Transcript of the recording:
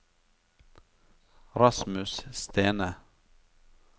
Rasmus Stene